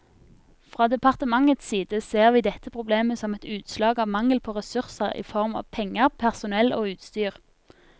Fra departementets side ser vi dette problemet som et utslag av mangel på ressurser i form av penger, personell og utstyr.